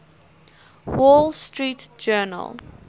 wall street journal